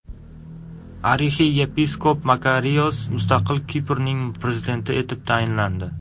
Arixiyepiskop Makarios mustaqil Kiprning prezidenti etib saylandi.